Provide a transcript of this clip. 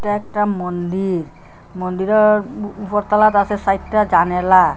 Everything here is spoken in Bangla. এটা একটা মন্দির মন্দিরের উপরতলাটা আসে সাইডটা জানালা।